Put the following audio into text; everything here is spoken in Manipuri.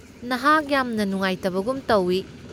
ꯅꯍꯥꯛ ꯌꯥꯝꯅ ꯅꯨꯡꯉꯥꯏꯗꯕꯒꯨꯝ ꯇꯧꯏ꯫